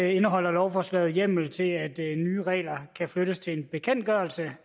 indeholder lovforslaget hjemmel til at nye regler kan flyttes til en bekendtgørelse